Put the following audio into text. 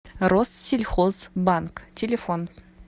россельхозбанк телефон